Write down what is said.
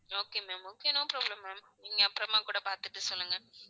Okay ma'am okay okay no problem ma'am நீங்க அப்புறமா கூட பார்த்துட்டு சொல்லுங்க ma'am